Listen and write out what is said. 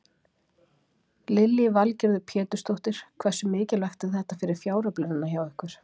Lillý Valgerður Pétursdóttir: Hversu mikilvægt er þetta fyrir fjáröflunina hjá ykkur?